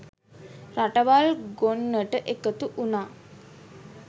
රටවල් ගොන්නට එකතු වුණා.